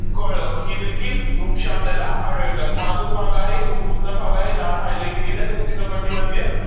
कळक ही देखील वृक्ष आपल्याला आढळतात. हा जो भाग आहे तो कोणता भाग आहे लाल highlight केलाय, तो उष्ण कटिबंधीय